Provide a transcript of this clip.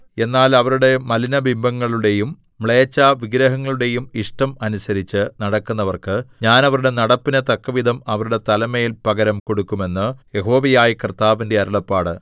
എന്നാൽ അവരുടെ മലിനബിംബങ്ങളുടെയും മ്ലേച്ഛവിഗ്രഹങ്ങളുടെയും ഇഷ്ടം അനുസരിച്ച് നടക്കുന്നവർക്ക് ഞാൻ അവരുടെ നടപ്പിനു തക്കവിധം അവരുടെ തലമേൽ പകരം കൊടുക്കും എന്ന് യഹോവയായ കർത്താവിന്റെ അരുളപ്പാട്